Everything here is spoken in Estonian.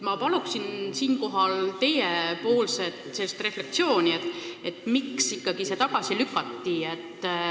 Ma palun teie refleksiooni, miks ikkagi see tagasi lükati.